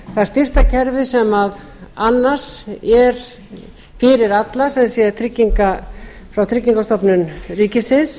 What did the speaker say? það styrktarkerfi sem annars er fyrir alla sem sé frá tryggingastofnun ríkisins